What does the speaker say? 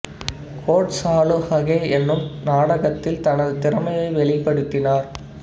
court Chalu Aahe எனும் நாடகத்தில் தனது திறமையை வெளிப்படுத்தினார்